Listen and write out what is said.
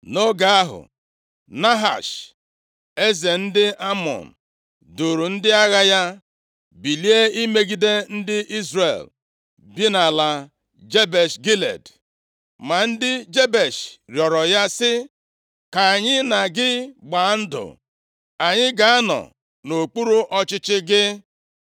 Nʼoge ahụ, Nahash, eze ndị Amọn, + 11:1 Ndị Amọn bụ ụmụ ụmụ Lọt, \+xt Jen 19:38; Dit 2:19\+xt* nʼoge Ndị Ikpe na-achị nʼIzrel, ha gbalịrị ibuso ha agha ka ha nara ha ala ha. \+xt Nkp 3:13; 11:4-33\+xt* duuru ndị agha ya bilie imegide ndị Izrel bi nʼala Jebesh Gilead. Ma ndị Jebesh rịọrọ ya sị, “Ka anyị na gị gbaa ndụ, anyị ga-anọ nʼokpuru ọchịchị gị.”